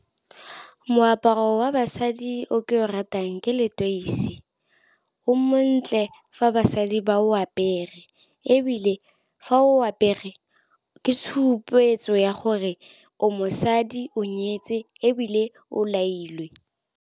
Moaparo wa basadi o ke o ratang ke leteisi. O montle fa basadi ba o apere. Ebile fa o apere ke tshupetso ya gore o mosadi o nyetswe ebile o lailwe.